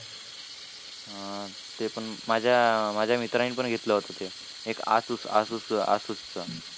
हां. ते पण माझ्या माझ्या मित्राने पण घेतलं होतं ते. एक asus asus asus च